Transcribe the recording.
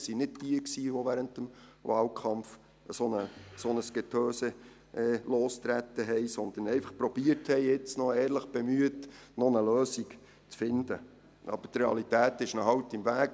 Es waren nicht diejenigen, die während des Wahlkampfs so ein Getöse losgetreten haben, sondern Leute, die sich jetzt noch ehrlich bemüht haben, eine Lösung zu finden, aber die Realität steht ihnen halt im Wege.